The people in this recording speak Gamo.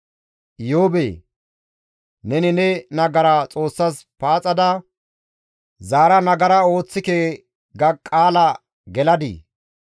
«Iyoobee! Neni ne nagara Xoossas paaxada zaara nagara ooththike ga qaala geladii?